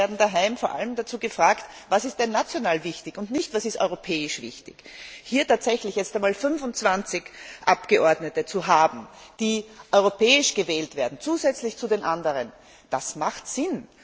Das heißt, wir werden daheim vor allem dazu gefragt, was national wichtig ist, und nicht, was europäisch wichtig ist. Hier tatsächlich 25 Abgeordnete zu haben, die europäisch gewählt werden, zusätzlich zu den anderen, das macht Sinn!